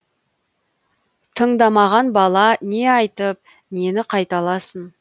тыңдамаған бала не айтып нені қайталасын